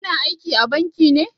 Ki na aiki a banki ne?